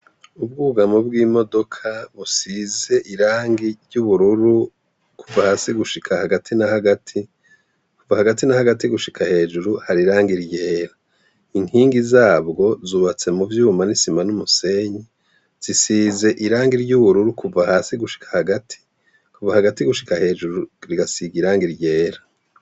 Ubwugamo bw'imodoka busize irangi ry'ubururu kuva hasi gushika hagati na hagati. Kuva hagati na hagati gushika hejuru hari irangi ry'era. Inkingi zabwo zubatse mu vyuma n'isima n'umusenyi, zisize irangi ry'ubururu kuva hasi gushika hagati. Kuva hagati gushika hejuru rigasiga irangi ry'era.